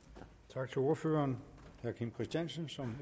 tak til ordføreren herre kim christiansen som